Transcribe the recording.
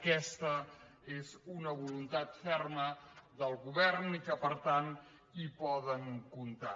aquesta és una voluntat ferma del govern i per tant hi poden comptar